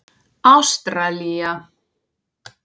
Ástralía